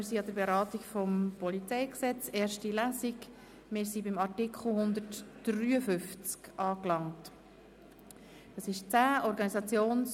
Wir fahren an dieser Stelle fort, wo wir heute Morgen unterbrochen haben.